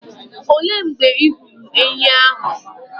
Òlé mgbe ị hụrụ ènyị́ ahụ?